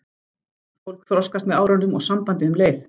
Fólk þroskast með árunum og sambandið um leið.